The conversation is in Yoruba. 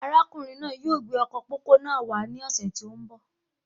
Arákùnrin náà yóò gbé ọkọ pópó náà wà ní ọsẹ tó n bọ